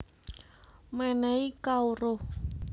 Menéhi Kawruh